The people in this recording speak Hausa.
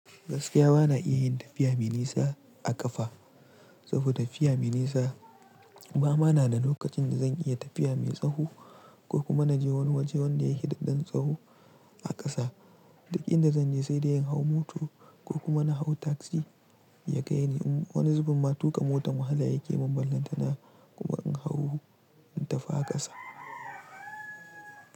Gaskiya ba na iya yin tafiya mai nisa a ƙafa saboda tafiya mai nisa ba ma na da lokacin da zan iya tafiya mai tsaho ko kuma na je wani waje wanda yake da ɗan tsaho a ƙasa. Duk inda zan je sai da yin hau mota ko kuma na hau taksi ya kai ni. Wani zubin ma tuƙa motan wahala yake mun ballanta na kuma in hau in tafi a ƙasa.